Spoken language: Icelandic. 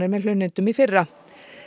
með hlunnindum í fyrra